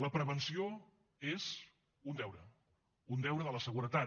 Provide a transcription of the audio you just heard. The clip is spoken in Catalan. la prevenció és un deure un deure de la seguretat